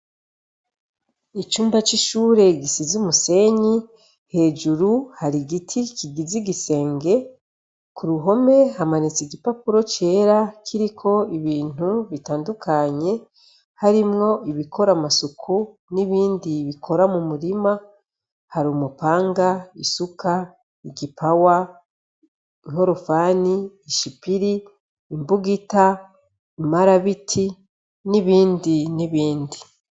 Icunda c'ishure gisiza umusenyi hejuru hari igiti kigiza igisenge ku ruhome hamanitse igipapuro cera kiriko ibintu bitandukanye harimwo ibikora amasuku n'ibindi bikora mu murima hari umupanga ie suka igipawa nkorufani ishipiri imbugita imarabiti n'ibindi n'ibindi.